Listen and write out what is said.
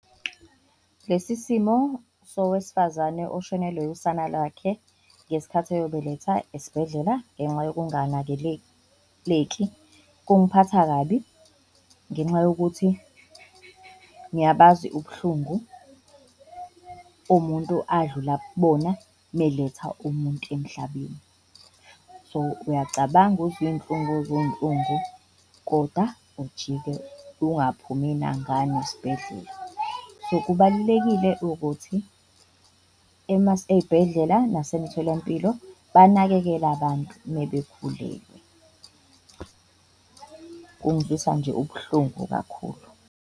Lesi simo sowesifazane oshonelwe usana lwakhe ngesikhathi eyobeletha esibhedlela ngenxa yokunganakeleki, kungiphatha kabi ngenxa yokuthi ngiyabazi ubuhlungu umuntu adlula kubona meletha umuntu emhlabeni. So uyacabanga uzwe iyinhlungu, uzwe iyinhlungu koda ujike ungaphumi nangane esibhedlela so, kubalulekile ukuthi eyibhedlela nasemtholampilo banakekela bantu uma bekhulelwe. Kungizwisa nje ubuhlungu kakhulu.